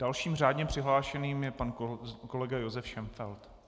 Dalším řádně přihlášeným je pan kolega Josef Šenfeld.